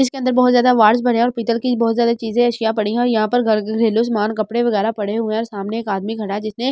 जिस के अंदर बहुत ज़्यादा भरे हैं और पीतल की बहुत ज़्यादा चीज़े पड़ी हैं यहाँ पर घर घरेलू समान कपड़े वगैरा पड़े हुए हैं और सामने एक आदमी खड़ा हैं जिसने --